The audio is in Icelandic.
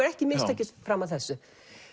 ekki mistekist fram að þessu